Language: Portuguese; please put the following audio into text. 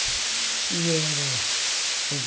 E era o